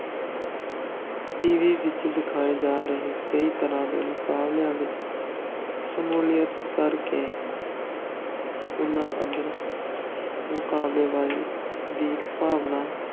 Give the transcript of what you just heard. TV ਵਿੱਚ ਦਿਖਾਏ ਜਾ ਰਹੇ ਕਈ ਤਰ੍ਹਾਂ ਦੇ ਮੁਕਾਬਲਿਆਂ ਵਿੱਚ ਸ਼ਮੂਲੀਅਤ ਕਰਕੇ ਉਨ੍ਹਾਂ ਅੰਦਰ ਮੁਕਾਬਲੇਬਾਜ਼ੀ ਦੀ ਭਾਵਨਾ,